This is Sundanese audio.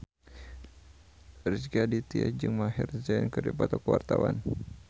Rezky Aditya jeung Maher Zein keur dipoto ku wartawan